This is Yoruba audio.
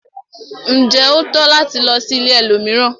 Njé o tọ́ láti lò sí ìlẹ̀ ẹlòmíràn?